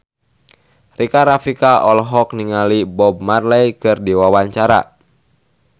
Rika Rafika olohok ningali Bob Marley keur diwawancara